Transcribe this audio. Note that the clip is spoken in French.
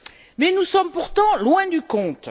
Mais nous sommes pourtant loin du compte.